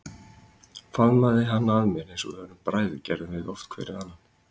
Faðmaði hann að mér eins og við bræðurnir gerðum oft hver við annan.